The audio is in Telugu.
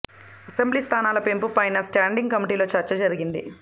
అసెంబ్లీ స్థానాల పెంపు పైనా స్టాండింగ్ కమిటీలో చర్చ జరిగింది